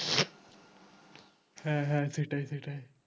হ্যাঁ হ্যাঁ সেটাই সেটাই